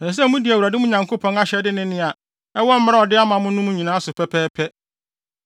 Ɛsɛ sɛ mudi Awurade, mo Nyankopɔn, ahyɛde ne nea ɛwɔ mmara a ɔde ama mo no mu no so pɛpɛɛpɛ.